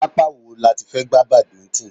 Pápá wo láti fẹ́ gba badminton?